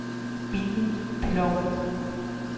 Bitten Ploug